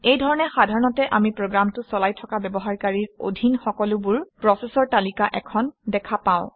এই ধৰণে সাধাৰণতে আমি প্ৰগামটো চলাই থকা ব্যৱহাৰকাৰীৰ অধীন সকলোবোৰ প্ৰচেচৰ তালিকা এখন দেখা পাওঁ